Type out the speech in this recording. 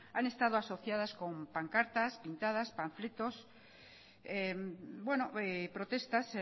han estado asociadas con pancartas pintadas panfletos protestas